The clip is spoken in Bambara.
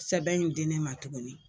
Sɛbɛn in di ne ma tuguni